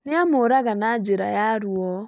Nĩamũũraga na njĩra ya ruo